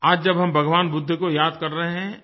आज जब हम भगवान बुद्ध को याद कर रहे हैं